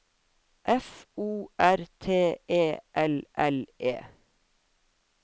F O R T E L L E